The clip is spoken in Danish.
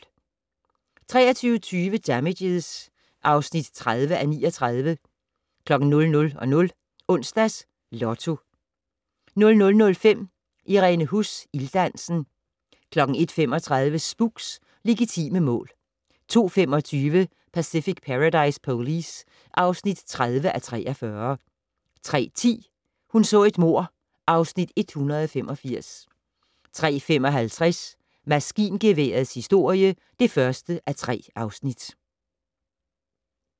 23:20: Damages (30:39) 00:00: Onsdags Lotto 00:05: Irene Huss: Ilddansen 01:35: Spooks: Legitime mål 02:25: Pacific Paradise Police (30:43) 03:10: Hun så et mord (Afs. 185) 03:55: Maskingeværets historie (1:3)